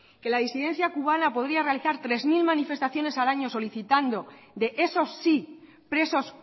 que la incidencia cubana podría realizar tres mil manifestaciones al año solicitando de esos sí presos